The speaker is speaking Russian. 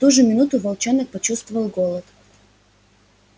в ту же минуту волчонок почувствовал голод